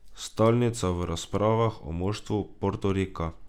Stalnica v razpravah o moštvu Portorika.